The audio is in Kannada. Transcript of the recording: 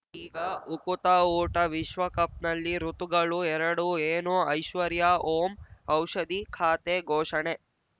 ಈಗ ಉಕುತ ಊಟ ವಿಶ್ವಕಪ್‌ನಲ್ಲಿ ಋತುಗಳು ಎರಡು ಏನು ಐಶ್ವರ್ಯಾ ಓಂ ಔಷಧಿ ಖಾತೆ ಘೋಷಣೆ